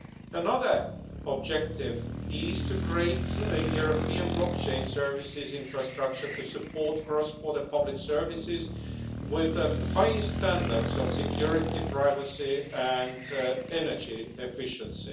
Another objective is to create a European blockchain services infrastructure to support cross-border public services with the highest standards of security, privacy and energy efficiency.